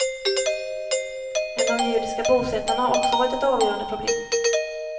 Men de judiska bosättarna har också varit ett avgörande problem.